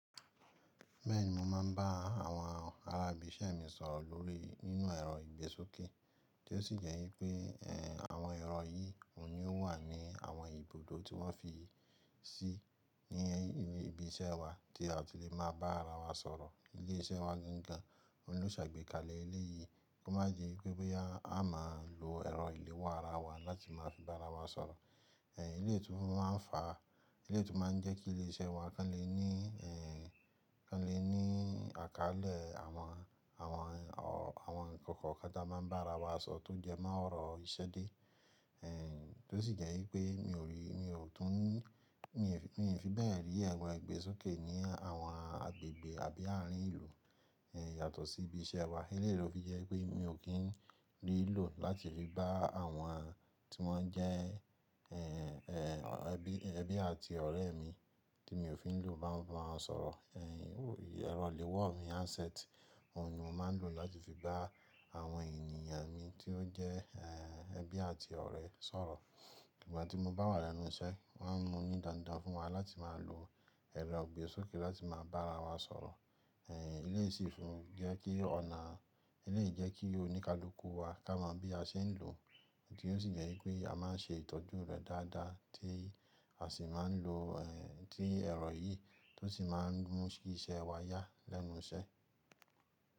Bẹ́ẹ̀ ni, mo máa ń bá àwọn ará ibì iṣẹ́ mi sọ̀rọ̀ lórí nínú ẹ̀rọ ìgbésókè, tí ó sì jẹ́ wípé, ẹ́, àwọn ẹ̀rọ yìí òun ni ó wà ní àwọn ibùdó tí wọ́n fi sí ní ibi iṣẹ́ wa tí a ti lẹ̀ máa bá ara wa sọ̀rọ̀. Ilé iṣẹ́ wa gan an gan an, òun ló ṣe àgbékalẹ̀ eleyìí kó má jẹ́ pé bóyá a máa lò ẹ̀rọ ìléwọ́ ara wa láti máa fi bá ara wa sọ̀rọ̀. Ẹ̀, eléyìí tó máa ń fa, eléyìí tó máa ń jẹ́ kí ilé iṣẹ́ wa kan lè ní, ẹ́, kan lè ní àkálẹ̀ àwọn, àwọn ọ̀, àwọn ọ̀rọ̀ kan kan táa máa ń bá ara wa sọ tó jẹ mọ́ ọ̀rọ̀ ìṣẹ̀dẹ̀. Eǹ, tó sì jẹ́ wípé mi ò rí, mi ò tún, mi ò fi bẹ́ẹ̀ rí ẹ̀rọ ìgbésókè ní àwọn agbègbè àbí àárín ìlú, ẹ́, yàtọ̀ sí ibi iṣẹ́ wa. Eléyìí ló fi jẹ́ pé mi ò kín rí i lò láti le bá àwọn tí wọ́n jẹ́, ẹ́, ẹbí, ẹbí àti ọ̀rẹ́ mi tí mi ò fi ń lò bá wọn sọ̀rọ̀. Ẹ̀n, òí ẹ̀rọ ìléwọ́ mi handset, òun ni mo máa ń lò láti fi bá àwọn ènìyàn mi tí ó jẹ́, ẹ́, ẹbí àti ọ̀rẹ́ sọ̀rọ̀. Ìgbà tí mo bá wà lẹ́nu iṣẹ́, wọ́n mú ni dandan fún wa láti máa lò ẹ̀rọ ìgbésókè láti máa bá ara wa sọ̀rọ̀. Eléyìí ṣífun jẹ́ kí ọ̀nà, eléyìí jẹ́ kí oníkálukú wa ká mọ bí a ṣe ń lò ó, ti ó sì jẹ́ wípé a máa ń ṣe ìtọ́jú rẹ̀ dáadáa tí a sì máa ń lò, tí ẹ̀rọ yìí tó sì máa ń mú sí iṣẹ́ wa yá lẹ́nu iṣẹ́.